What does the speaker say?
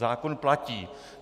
Zákon platí.